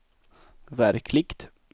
verkligt